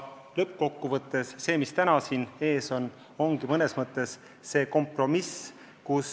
Lõppkokkuvõttes on teie ees täna mõnes mõttes kompromiss.